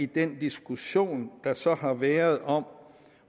den diskussion der så har været om